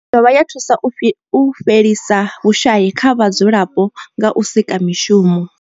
I dovha ya thusa u fhelisa vhushayi kha vhadzulapo nga u sika mishumo.